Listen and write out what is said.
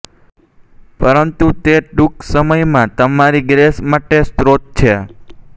પરંતુ તે ટૂંક સમયમાં તમારી ગ્રેસ માટે સ્તોત્ર છે